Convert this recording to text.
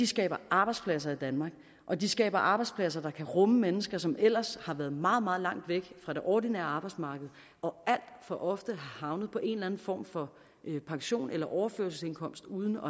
skaber arbejdspladser i danmark og de skaber arbejdspladser der kan rumme mennesker som ellers har været meget meget langt væk fra det ordinære arbejdsmarked og alt for ofte er havnet på en eller en form for pension eller overførselsindkomst uden